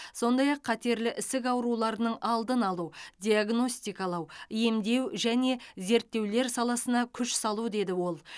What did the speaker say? сондай ақ қатерлі ісік ауруларының алдын алу диагностикалау емдеу және зерттеулер саласына күш салу деді ол